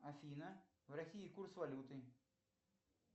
афина в россии курс валюты